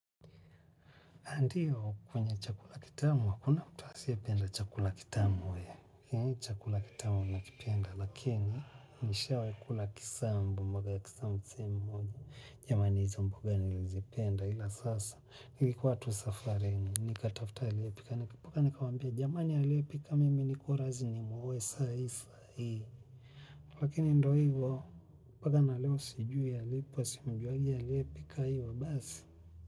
Andiyo kwenye chakula kitamu wa kuna mtu asiya penda chakula kitamu wae. Mi chakula kitamu napoenda lakini nishaikula kisambu. Yamani hiza mboga ni ilizipenda ila sasa. Ilikuwa tu safarini. Nika tafta hiliyepika. Nika paka nika wambia jamani hiliyepika mimi nikuwa razi ni muowe saa isa hii. Lakini ndo hivyo paka naleo siju alipo siumjua hiliyepika hivyo basi.